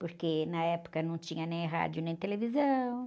Porque na época não tinha nem rádio, nem televisão.